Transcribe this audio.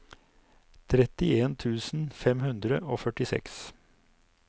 trettien tusen fem hundre og førtiseks